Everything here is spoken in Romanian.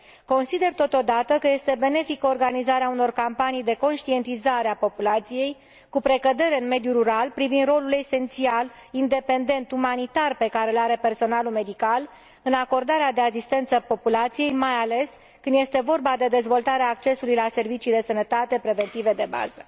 Consider, totodată, că este benefică organizarea unor campanii de conștientizare a populației, cu precădere în mediul rural, privind rolul esențial, independent, umanitar, pe care îl are personalul medical în acordarea de asistență populației, mai ales când este vorba de dezvoltarea accesului la servicii de sănătate preventive de bază.